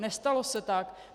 Nestalo se tak.